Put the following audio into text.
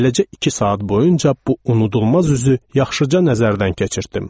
Beləcə iki saat boyunca bu unudulmaz üzü yaxşıca nəzərdən keçirtdim.